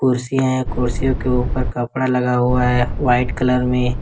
कुर्सियां है कुर्सियों के ऊपर कपड़ा लगा हुआ है वाइट कलर में।